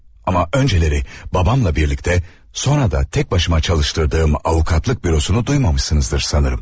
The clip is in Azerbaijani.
Amma öncələri babamla birlikdə, sonra da tək başıma çalışdırdığım avukatlıq bürosunu duymamışsınızdır sanırım.